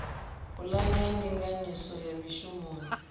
pulane ya ndinganyiso ya mishumoni